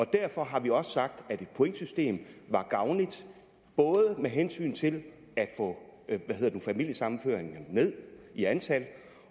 derfor har vi også sagt at et pointsystem var gavnligt både med hensyn til at få familiesammenføringerne ned i antal